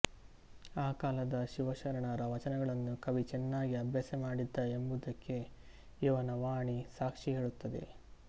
ಆ ಕಾಲದ ಶಿವಶರಣರ ವಚನಗಳನ್ನು ಕವಿ ಚೆನ್ನಾಗಿ ಅಭ್ಯಾಸಮಾಡಿದ್ದ ಎಂಬುದಕ್ಕೆ ಇವನ ವಾಣಿ ಸಾಕ್ಷಿ ಹೇಳುತ್ತದೆ